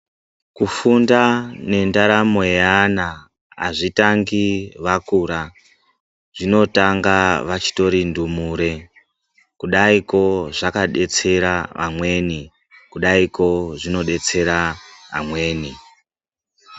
Kufunda nendaramo yeana haitangi vakura zvinotanga vachitori ndumure kudaiko zvakadetsera amweni kudaiko zvinodetsera amweni .